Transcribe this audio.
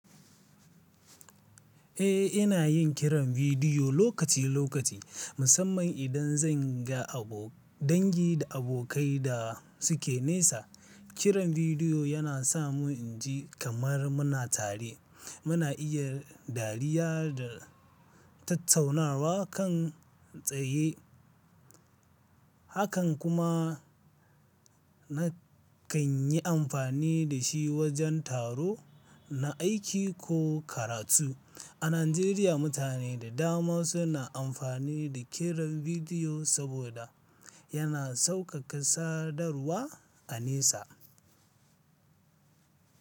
Eh, ina yin kiran bidiyo lokaci lokaci, musamman idan zan ga abo- dangi da abokai da suke nesa. Kiran bidiyo yana sa mu inji kamar muna tare. Muna iya dariya da tattaunawa kan tsaye. Hakan kuma na kan yi amfani da shi wajen taro na aiki ko karatu. A Najeriya, mutane da dama suna amfani da kiran bidiyo saboda yana sauƙaƙa sadarwa a nesa.